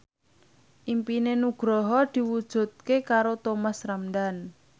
impine Nugroho diwujudke karo Thomas Ramdhan